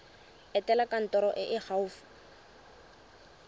etela kantoro e e gaufi